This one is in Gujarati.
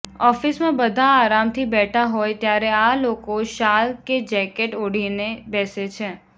ઑફિસમાં બધા આરામથી બેઠા હોય ત્યારે આ લોકો શાલ કે જેકેટ ઓઢીને બેસે છે